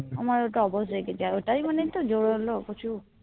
আমার ওটা অবশ হয়ে গেছিলো আর ওটাই মানে একটা জোর হলো